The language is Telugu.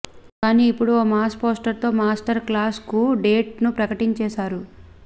కానీ ఇప్పుడు ఓ మాస్ పోస్టర్ తో మాస్టర్ క్లాష్ కు డేట్ ను ప్రకటించేసారు